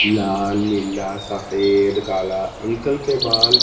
लाल नीला सफेद काला अंकल के बाल--